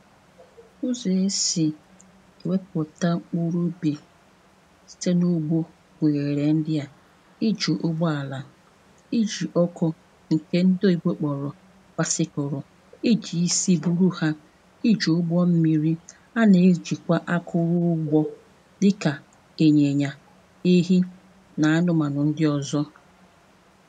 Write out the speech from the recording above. N̄nsi nsì weputà uru ubì Tinubu gunyere ndị à iji ụgbọ alà iju ọkụ nke ndị oyibo kpọrọ̀ basikorò iji isi buru ha iji ụgbọ mmirī a na-ejikwa akụrụ ụgbọ dịkà ịnyịnyà ehi na anụmanụ ndị ọzọ̀